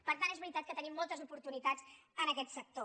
per tant és veritat que tenim moltes oportunitats en aquest sector